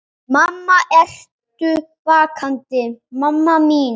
Mamma, ertu vakandi mamma mín?